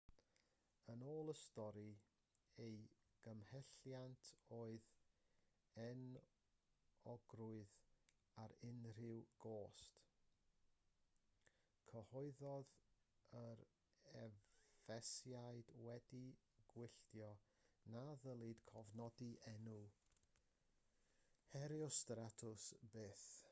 yn ôl y stori ei gymhelliant oedd enwogrwydd ar unrhyw gost cyhoeddodd yr effesiaid wedi gwylltio na ddylid cofnodi enw herostratus byth